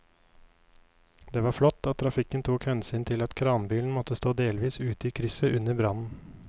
Det var flott at trafikken tok hensyn til at kranbilen måtte stå delvis ute i krysset under brannen.